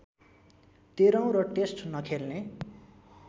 तेह्रौँ र टेस्ट नखेल्ने